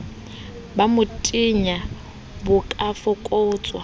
ba motenya bo ka fokotswa